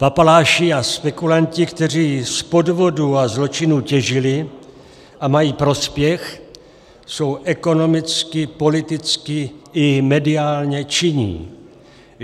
Papaláši a spekulanti, kteří z podvodů a zločinů těžili a mají prospěch, jsou ekonomicky, politicky i mediálně činní.